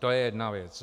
To je jedna věc.